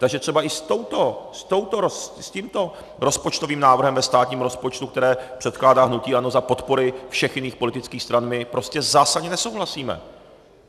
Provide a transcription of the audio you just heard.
Takže třeba i s tímto rozpočtovým návrhem ve státním rozpočtu, který předkládá hnutí ANO za podpory všech jiných politických stran, my prostě zásadně nesouhlasíme.